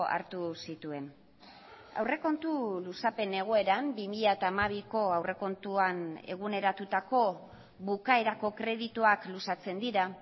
hartu zituen aurrekontu luzapen egoeran bi mila hamabiko aurrekontuan eguneratutako bukaerako kredituak luzatzen dira